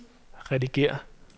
redigér